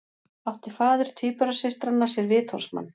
Átti faðir tvíburasystranna sér vitorðsmann